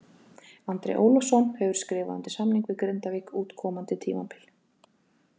Andri Ólafsson hefur skrifað undir samning við Grindavík út komandi tímabil.